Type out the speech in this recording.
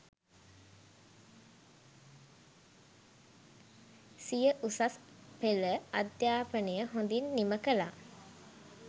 සිය උසස් පෙළ අධ්‍යාපනය හොඳින් නිම කළා